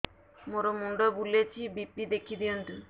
ମୋର ମୁଣ୍ଡ ବୁଲେଛି ବି.ପି ଦେଖି ଦିଅନ୍ତୁ